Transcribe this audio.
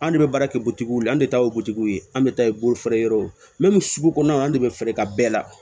An de bɛ baara kɛ butigiw la an de ta ye butigiw ye an bɛ taa bolofeereyɔrɔw sugu kɔnɔ an de bɛ fɛɛrɛ ka bɛɛ la